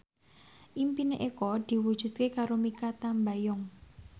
impine Eko diwujudke karo Mikha Tambayong